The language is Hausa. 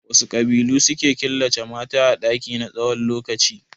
Wasu ƙabilu suke killace mata a ɗaki na tsawon lokaci?